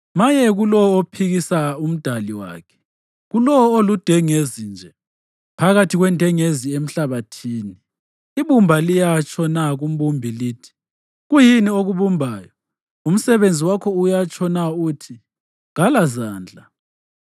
Maye kulowo ophikisa uMdali wakhe, kulowo oludengezi nje phakathi kwendengezi emhlabathini. Ibumba liyatsho na kumbumbi lithi, ‘Kuyini okubumbayo?’ Umsebenzi wakho uyatsho na uthi, ‘Kalazandla?’